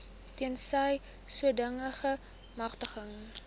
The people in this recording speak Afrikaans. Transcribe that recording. tensy sodanige magtiging